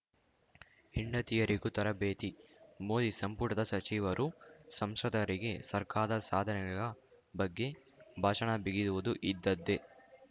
ಹೆಂಡತಿಯರಿಗೂ ತರಬೇತಿ ಮೋದಿ ಸಂಪುಟದ ಸಚಿವರು ಸಂಸದರಿಗೆ ಸರ್ಕಾರದ ಸಾಧನೆಗಳ ಬಗ್ಗೆ ಭಾಷಣ ಬಿಗಿಯುವುದು ಇದ್ದದ್ದೇ